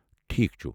ٹھیٖکھ چھُ.